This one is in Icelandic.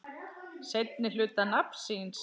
seinni hluta nafns síns.